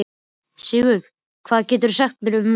Sigurða, hvað geturðu sagt mér um veðrið?